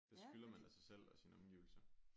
Det skylder man da sig selv og sine omgivelser